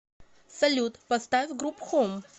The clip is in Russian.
салют поставь груп хом